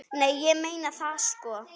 Nei, ég meina það sko.